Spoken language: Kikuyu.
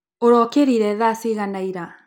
ũrokĩrire thaa cigana ira.